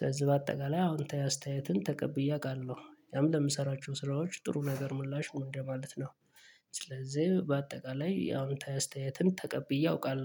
ስለዚህ በአጠቃላይ አዎንታዊ አስተያየትን ተቀብዬ አውቃለሁ ያም ለምሰራቸው ስራዎች ጥሩ ነገር ምላሽ ምንድነው ማለት ነው ስለዚህ በአጠቃላይ አዎንታዊ እስተያየትን ተቀብዬ አውቃለሁ